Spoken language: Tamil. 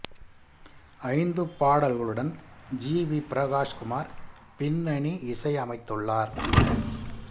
ஐந்து பாடல்களுடன் ஜி வி பிரகாஷ் குமார் பின்னணி இசையமைத்துள்ளார்